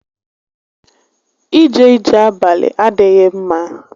Íjé íjè abalị adịghị ḿmá